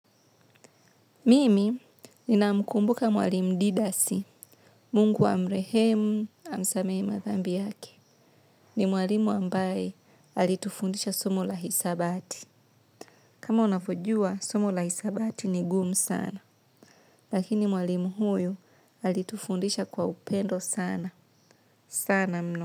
Mimi ninamkumbuka mwalimu Didasi, mungu amrehemu, amsamehr madhambi yake. Ni mwalimu ambaye alitufundisha somo la hisabati. Kama unavyojua, somo la hisabati ni gumu sana. Lakini mwalimu huyu alitufundisha kwa upendo sana. Sana mno.